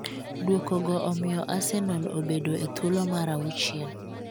Duoko go omiyo Arsenal obedo e thuolo mar auchiel,